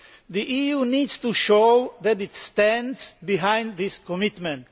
The EU needs to show that it stands behind this commitment